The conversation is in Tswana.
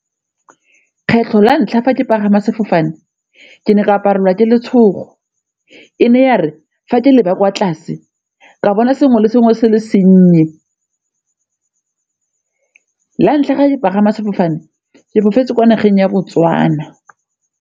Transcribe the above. Kgetlho la ntlha fa ke pagama sefofane ke ne ka aparelwa ke letshogo e ne ya re fa ke leba kwa tlase ka bona sengwe le sengwe se le senye. La ntlha ke pagama sefofane, ke fofela kwa nageng ya Botswana.